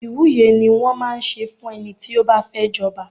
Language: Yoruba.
Ìwúye ni wón máa ń ṣe fún ẹni tí ó bá fẹ́ jọba.